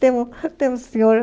Tem um, tem um senhor